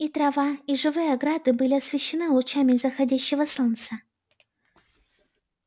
и трава и живые ограды были освещены лучами заходящего солнца